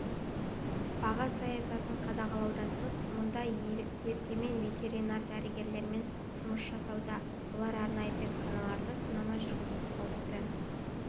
баға саясатын қадағалаудан тыс мұнда ертемен ветеринар дәрігерлер жұмыс жасауда олар арнайы зертханаларда сынама жүргізіп қауіпті